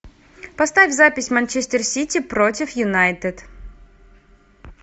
поставь запись манчестер сити против юнайтед